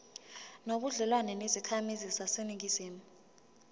nobudlelwane nezakhamizi zaseningizimu